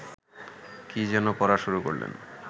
কী যেন পড়া শুরু করলেন